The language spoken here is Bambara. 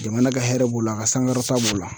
Jamana ka hɛrɛ b'o la a ka sankɔrɔta b'o la.